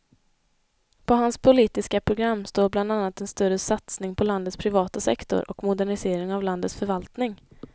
På hans politiska program står bland annat en större satsning på landets privata sektor och modernisering av landets förvaltning.